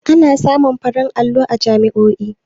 Ana samun farin allo a jami'oi